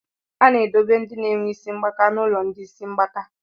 A na-edobe ndị na-enwe isi mgbaka n'ụlọ ndị isi mgbaka.